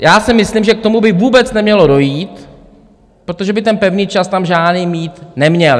Já si myslím, že k tomu by vůbec nemělo dojít, protože by ten pevný čas tam žádný být neměl.